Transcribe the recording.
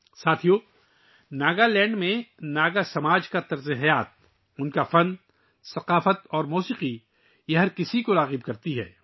دوستو، ناگا لینڈ میں ناگا کمیونٹی کا طرز زندگی، ان کا فن ثقافت اور موسیقی سب کو اپنی طرف متوجہ کرتی ہے